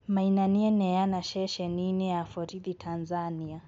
Maina nĩeneana ceceninĩ ya borithi Tanzania